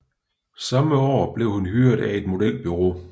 Samme år blev hun hyret af et modelbureau